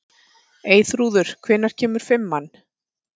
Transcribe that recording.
Eyþrúður, hvenær kemur fimman?